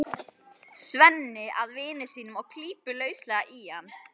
Svenni að vini sínum og klípur lauslega í hann.